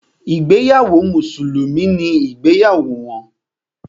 Ìgbéyàwó mùsùlùmí ni ìgbéyàwó wọn.